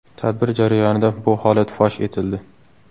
Tadbir jarayonida bu holat fosh etildi.